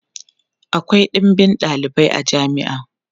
akwai ɗinbin ɗalibai a jami'a